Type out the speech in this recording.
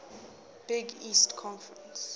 big east conference